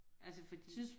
Altså fordi